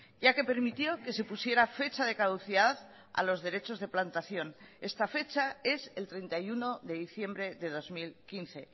ya que permitió que se pusiera fecha de caducidad a los derechos de plantación esta fecha es el treinta y uno de diciembre de dos mil quince